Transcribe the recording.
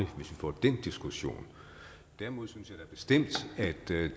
vi får den diskussion derimod synes jeg da bestemt at det